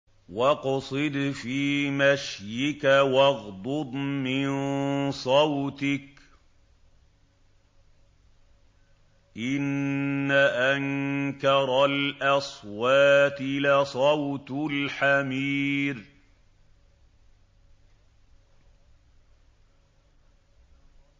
وَاقْصِدْ فِي مَشْيِكَ وَاغْضُضْ مِن صَوْتِكَ ۚ إِنَّ أَنكَرَ الْأَصْوَاتِ لَصَوْتُ الْحَمِيرِ